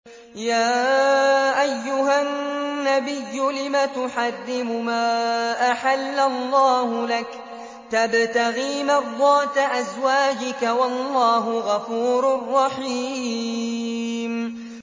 يَا أَيُّهَا النَّبِيُّ لِمَ تُحَرِّمُ مَا أَحَلَّ اللَّهُ لَكَ ۖ تَبْتَغِي مَرْضَاتَ أَزْوَاجِكَ ۚ وَاللَّهُ غَفُورٌ رَّحِيمٌ